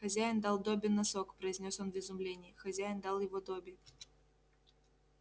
хозяин дал добби носок произнёс он в изумлении хозяин дал его добби